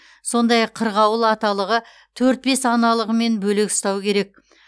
сондай ақ қырғауыл аталығы төрт бес аналығымен бөлек ұстау керек